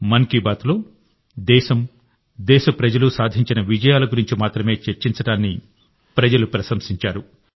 మన్ కీ బాత్లో దేశం దేశప్రజలు సాధించిన విజయాల గురించి మాత్రమే చర్చించడాన్ని ప్రజలు ప్రశంసించారు